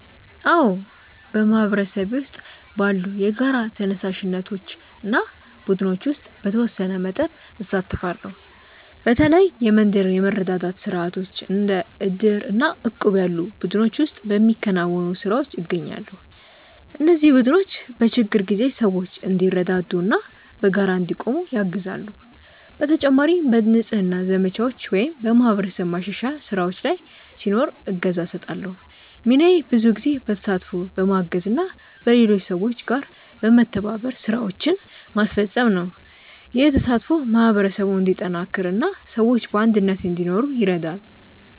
አዎ፣ በማህበረሰቤ ውስጥ ባሉ የጋራ ተነሳሽነቶች እና ቡድኖች ውስጥ በተወሰነ መጠን እሳተፋለሁ። በተለይ የመንደር የመረዳዳት ስርዓቶች እንደ ዕድር እና እቁብ ያሉ ቡድኖች ውስጥ በሚከናወኑ ስራዎች እገኛለሁ። እነዚህ ቡድኖች በችግር ጊዜ ሰዎች እንዲረዳዱ እና በጋራ እንዲቆሙ ያግዛሉ። በተጨማሪም በንጽህና ዘመቻዎች ወይም በማህበረሰብ ማሻሻያ ስራዎች ላይ ሲኖር እገዛ እሰጣለሁ። ሚናዬ ብዙ ጊዜ በተሳትፎ፣ በማገዝ እና በሌሎች ሰዎች ጋር በመተባበር ስራዎችን ማስፈጸም ነው። ይህ ተሳትፎ ማህበረሰቡን እንዲጠናከር እና ሰዎች በአንድነት እንዲኖሩ ይረዳል።